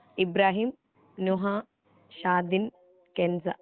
Ibrahim, Nuha, Shatin, Kenza